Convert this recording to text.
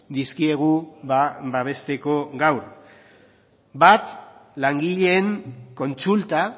dizkiegu babesteko gaur bat langileen kontsulta